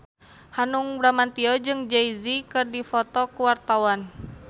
Hanung Bramantyo jeung Jay Z keur dipoto ku wartawan